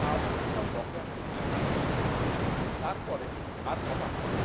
তাড়াতাড়ি সব বকেয়া মিটিয়ে দেবে। তারপরে আর কথা হয়নি